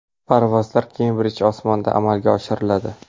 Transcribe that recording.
Parvozlar Kembridj osmonida amalga oshiriladi.